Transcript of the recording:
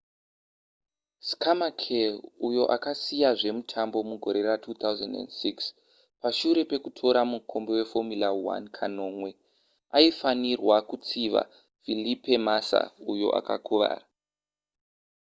schumacher uyo akasiya zvemitambo mugore ra2006 pashure pekutora mukombe weformula 1 kanomwe aifanirwa kutsiva felipe massa uyo akakuvara